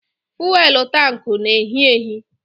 Fụ́élú tanku na-ehị ehị